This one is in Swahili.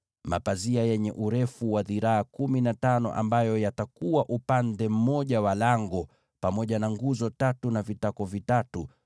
Mapazia yenye urefu wa dhiraa kumi na tano yatakuwa upande mmoja wa ingilio, pamoja na nguzo tatu na vitako vitatu.